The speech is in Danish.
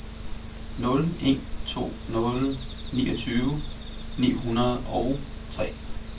nul en to nul niogtyve ni hundrede og tre